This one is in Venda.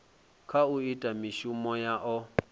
kha u ita mishumo yao